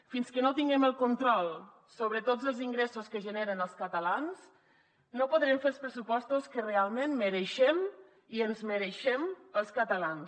fins que no tinguem el control sobre tots els ingressos que generen els catalans no podrem fer els pressupostos que realment mereixem i ens mereixem els catalans